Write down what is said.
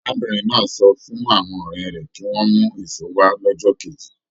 Arábìnrin náà sọ fún àwọn ọ̀rẹ́ rẹ̀ kí wọ́n mú èso wa lọ́jọ́ kejì.